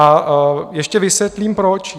A ještě vysvětlím proč.